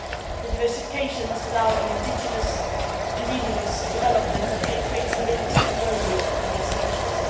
The diversification must allow an indigenous development that would create stability and well being in these regions.